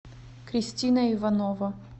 кристина иванова